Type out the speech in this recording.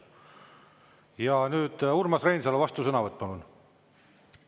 Ja nüüd Urmas Reinsalu, vastusõnavõtt, palun!